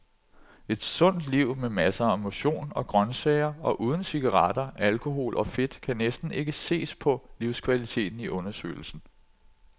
Et sundt liv med masser af motion og grøntsager og uden cigaretter, alkohol og fedt kan næsten ikke ses på livskvaliteten i undersøgelsen.